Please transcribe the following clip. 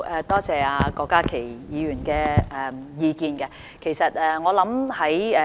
多謝郭家麒議員的意見。